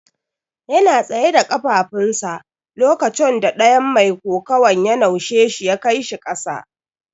Yana tsaye da kafafun sa lokaconda ɗayan mai kokuwan ya naushe shi ya kai shi kasa.